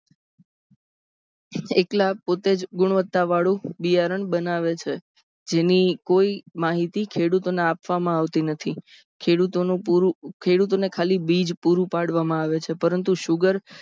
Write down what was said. એક પોતેજ ગુણવત્તાવાળો બિયારણ બનાવે છે જેની કોઈ માહિતી ખેડૂતોને આપવામાં આવતી નથી ખેડૂતો ને પૂરું ખેડૂતોને ખાલી બીજ પૂરું પાડવામાં આવે છે. પરંતુ sugar